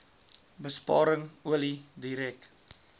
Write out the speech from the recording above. besparing olie direk